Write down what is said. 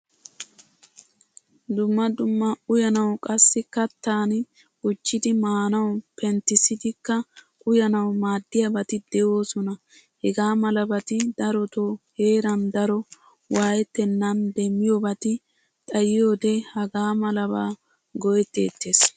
Dumma dumma uyanawu qassi kattan gujjidi maanawu penttisidikka uyanawu maadiyabati deosona. Hagaamalabati daroto heeran daro waayetenan demiyobati xayiyode hagamalaba go'etettees.